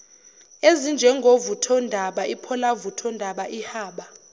ezinjengovuthondaba ipholavuthondaba ihaba